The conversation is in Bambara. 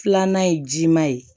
Filanan ye ji ma ye